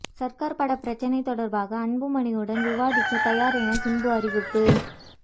சர்க்கார் பட பிரச்சனை தொடர்பாக அன்புமணியுடன் விவாதிக்க தயார் என சிம்பு அறிவிப்பு